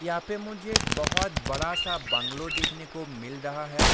यहाँ पे मुझे बोहोत बड़ा-सा बंगलो देखने को मिल रहा है।